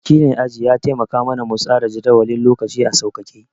Wakilin aji ya taimaka ma na mu tsara jadawalin lokaci a sauƙake